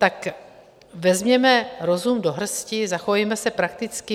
Tak vezměme rozum do hrsti, zachovejme se prakticky.